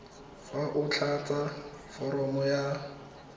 fa o tlatsa foromo ya